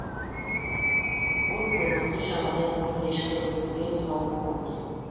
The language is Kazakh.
ол көгенді жағалай қой ешкіні түгел сауып болды